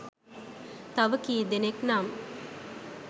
තව කීදෙනෙක් නම්